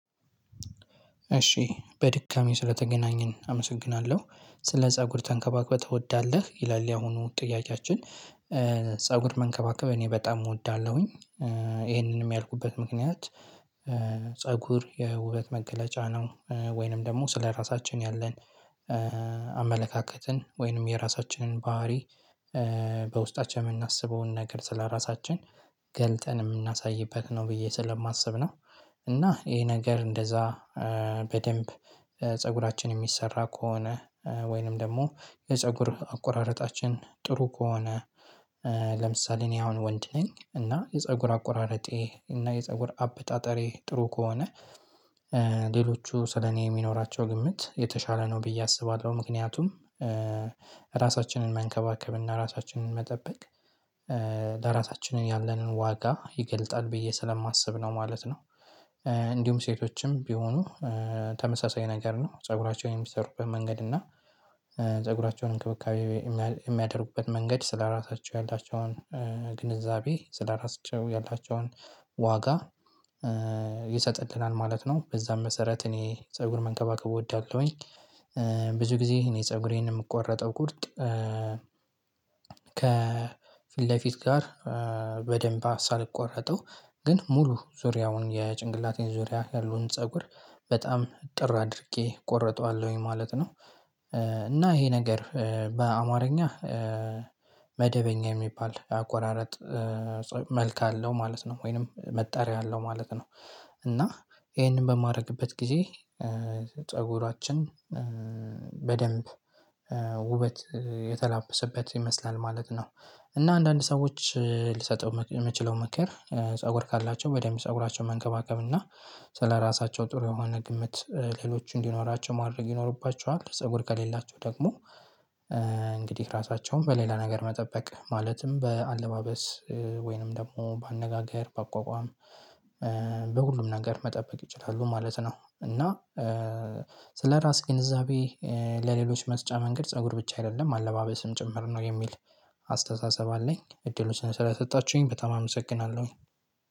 እሺ በድጋሜ ስለተገናኘን አመሰግናለሁ ስለ ፀጉር ተንከባክበህ ትወዳለህ? ይላል ያሁኑ ጥያቄያችን? ፀጉር መንከባከብ እኔ በጣም እወዳለሁኝ። ይሄንንም ያልኩበት ምክንያት። ፀጉር የውበት መገለጫ ነው ወይንም ደግሞ ስለራሳችን ያለን አመለካከትን ወይንም የራሳችንን ባህሪ በውስጣችን የምናስበውን ነገር ስለራሳችን ገልጠን የምናሳይበት ነው ብዬ ስለማስብ ነው። እና ይሄ ነገር እንደዛ በደንብ ፀጉራችን የሚሰራ ከሆነ ወይንም ደግሞ የፀጉር አቆራረጣችን ጥሩ ከሆነ። ለምሳሌ እኔ አሁን ወንድ ነኝ እና የፀጉር አቆራረጤ እና የፀጉር አበጣጠሬ ጥሩ ከሆነ ሌሎቹ ስለኔ የሚኖራቸው ግምት የተሻለ ነው ብዬ አስባለሁ። ምክንያቱም ራሳችንን መንከባከብ እና ራሳችንን መጠበቅ ለራሳችን ያለንን ዋጋ ይገልጣል ብዬ ስለማስብ ነው ማለት ነው። እንዲሁም ሴቶችም ቢሆኑ ተመሳሳይ ነገር ነው ፀጉራቸውን የሚሰሩበት መንገድ እና ፀጉራቸውን እንክብካቤ የሚያደርጉበት መንገድ ስለራሳቸው ያላቸውን ግንዛቤ ስለራሳቸው ያላቸውን ዋጋ ይሰጥልናል ማለት ነው በዛም መሰረት እኔ ፀጉር መንከባከብ እወዳለሁኝ። ብዙ ጊዜ እኔ ፀጉሬን የምቆረጠው ቁርጥ ከፊት ለፊት ጋር በደንብ ሳልቆረጠው ግን ሙሉ ዙሪያውን የጭንቅላቴን ዙሪያ ያሉን ፀጉር በጣም እጥር አድርጌ እቆርጠዋለሁኝ ማለት ነው። እና ይሄ ነገር በአማርኛ መደበኛ የሚባል አቆራረጥ መልክ አለው ማለት ነው ወይንም መጣሪያ አለው ማለት ነው። እና ይሄንን በማረግበት ጊዜ ፀጉራችን በደንብ ውበት የተላበሰበት ይመስላል ማለት ነው። እና አንዳንድ ሰዎች ልሰጠው የምችለው ምክር ፀጉር ካላቸው በደንብ ፀጉራቸው መንከባከብ እና ስለራሳቸው ጥሩ የሆነ ግምት ሌሎች እንዲኖራቸው ማድረግ ይኖርባቸዋል። ፀጉር ከሌላቸው ደግሞ እንግዲህ ራሳቸውን በሌላ ነገር መጠበቅ ማለትም በአለባበስ ወይንም ደግሞ በአነጋገር በአቋቋም በሁሉም ነገር መጠበቅ ይችላሉ ማለት ነው። እና ስለራሴ ግንዛቤ ለሌሎች መስጫ መንገድ ፀጉር ብቻ አይደለም አለባበስም ጭምር ነው የሚል አስተሳሰብ አለኝ እድሉን ስለሰጣችሁኝ በጣም አመሰግናለሁ